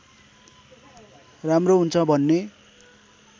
राम्रो हुन्छ भन्ने